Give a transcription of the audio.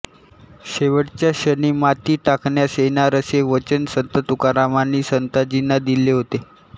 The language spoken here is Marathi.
शेवटच्या क्षणी माती टाकण्यास येणार असे वचन संत तुकारामांनी संताजीना दिले होते